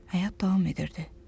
Həyat davam edirdi.